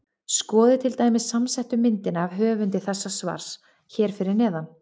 Skoðið til dæmis samsettu myndina af höfundi þessa svars hér fyrir neðan.